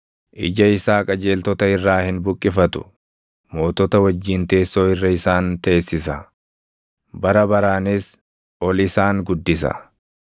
Ija isaa qajeeltota irraa hin buqqifatu; mootota wajjin teessoo irra isaan teessisa; bara baraanis ol isaan guddisa.